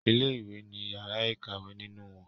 Ilé ìwé ní yàrá ìkàwé nínú wón.